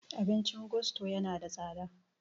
Abincin gusto yana da tsada